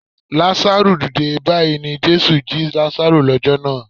Lazaru dìde! Báyìí ni Jésù jí Lazaru lọ́jọ́ náà.